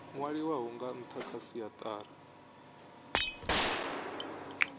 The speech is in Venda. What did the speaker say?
nwaliwaho nga ntha kha siatari